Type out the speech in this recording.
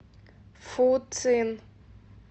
фуцин